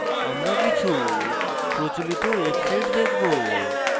আমরা কিছু প্রচলিত websites দেখবো